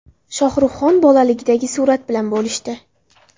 Shohruhxon bolaligidagi surat bilan bo‘lishdi.